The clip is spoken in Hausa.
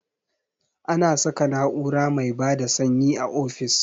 Ana saka na'ura mai bada sanyi a ofis